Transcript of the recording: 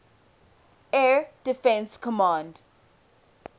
air defense command